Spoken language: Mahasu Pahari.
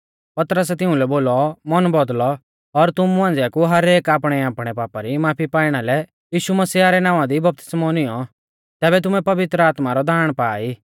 पतरसै तिउंलै बोलौ मन बौदल़ौ और तुमु मांझ़िया कु हरेक आपणैआपणै पापा री माफी पाइणा लै यीशु मसीह रै नावां दी बपतिस्मौ निऔं तैबै तुमै पवित्र आत्मा रौ दाण पा ई